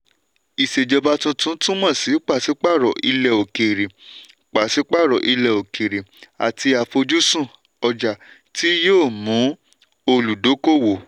ìṣèjọba tuntun túmọ̀ sí pàsípààrọ̀ ilẹ̀ òkèrè pàsípààrọ̀ ilẹ̀ òkèrè àti àfojúsùn ọjà tí yóò mú olùdókòwò.